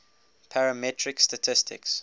parametric statistics